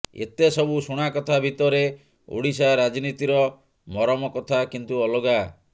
ଏତେ ସବୁ ଶୁଣାକଥା ଭିତରେ ଓଡିଶା ରାଜନୀତିର ମରମକଥା କିନ୍ତୁ ଅଲଗା